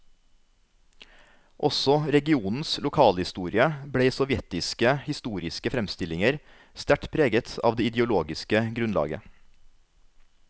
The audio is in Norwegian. Også regionens lokalhistorie ble i sovjetiske historiske framstillinger sterkt preget av det ideologiske grunnlaget.